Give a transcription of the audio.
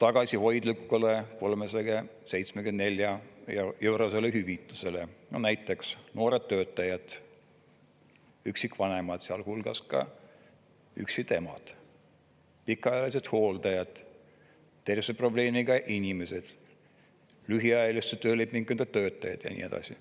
tagasihoidlikule 374‑eurosele hüvitisele, näiteks noored töötajad, üksikvanemad, sealhulgas üksikemad, pikaajalised hooldajad, tervishoiuprobleemiga inimesed, lühiajalise töölepinguga töötajaid ja nii edasi.